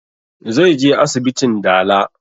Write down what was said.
Zai je asibitin dala